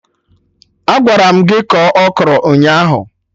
Agwara m gị kọọ Okro ụnyaahụ